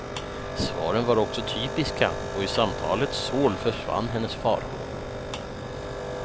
Svaren var också typiska, och i samtalets sorl försvann hennes farhågor.